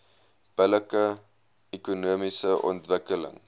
billike ekonomiese ontwikkeling